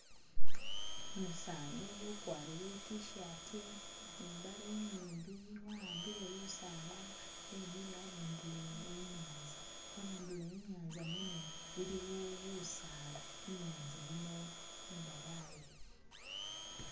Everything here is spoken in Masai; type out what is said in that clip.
Umusaani ukwarire i'tshirt ni mbaale inyimbi wa'ambile lusaala wemile abundulo e'nyanza, abundulo enyanza mwene iliwo busaala, inyanza yino imbalayi